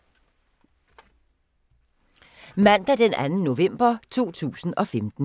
Mandag d. 2. november 2015